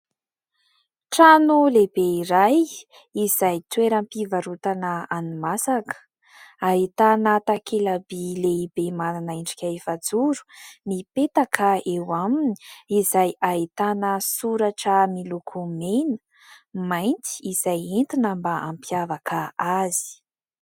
Trano lehibe iray izay toeram-pivarotana hani-masaka, ahitana takela-by lehibe manana endrika efajoro mipetaka eo aminy izay ahitana soratra miloko mena, mainty izay entina mba ampiavaka azy.